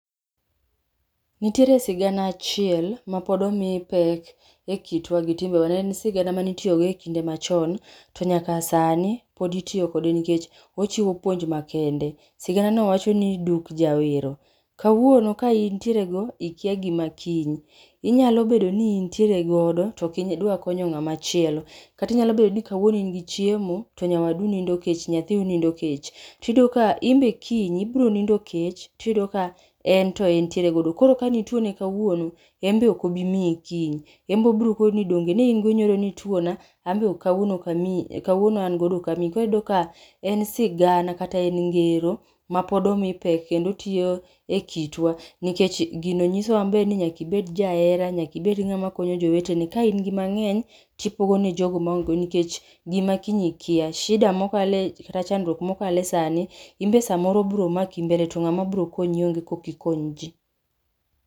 Nitiere sigana achiel ma pod omii pek e kitwa gi timbewa, neen sigana manitiogo e kinde machon, to nyaka sani pod itio kode nikech ochiwo puonj makende. Sigana no wacho ni duk jawero. Kawuono ka intiere go, ikya gima kiny. Inyalo bedo ni intiere godo, toki dwa konya ng'ama chielo. Kata inyalo bedo ni kawuono ingi chiemo, to nyawadu nindo kech nyathiu nindo kech. Tiyudo ka, imbe kiny, ibro nindo kech tiyudo ka en to entiere godo. Koro ka nitwone kawuono, embe okobmii kiny. Embe obrokoni ni donge neingo nyoro nitwona, ambe o kawuono okamii kawuono angodo okamii. Koro iyudo ka en sigana kata en ngero ma pod omii pek kendo tio e kitwa, nikech gino nyisowa maber ni nyaki bed jaera, nyaka ibed ng'ama konyo jowetene. Ka ingi mang'eny tipogo ne jogo maongego nkech gima kiny ikya. Shida mokale kata chandrwuok mokale sani, imbe samoro bro maki mbele to ng'ama bro konyi onge koki kony jii.